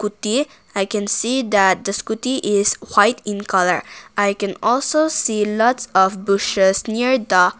There i can see that the scooty is white in colour i can also see lots of bushes near the.